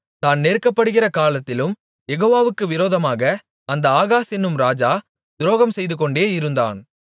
தான் நெருக்கப்படுகிற காலத்திலும் யெகோவாவுக்கு விரோதமாக அந்த ஆகாஸ் என்னும் ராஜா துரோகம்செய்துகொண்டே இருந்தான்